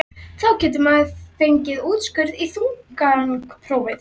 þá getur maður fengið úrskurð í þungunarprófi.